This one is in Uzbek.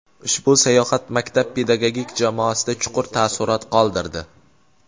Ushbu sayohat maktab pedagogik jamoasida chuqur taassurot qoldirdi.